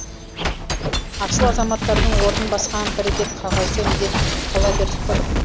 асыл азаматтардың орнын басқан бір бет қағазды медет етіп қала бердік қой